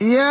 يَا